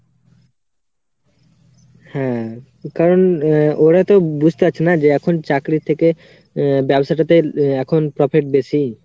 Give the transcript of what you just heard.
হ্যাঁ, কারণ ওরা তো বুঝতে পারছে না যে এখন চাকরির থেকে আহ ব্যবসাটাতেআহ এখন profit বেশি।